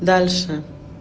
дальше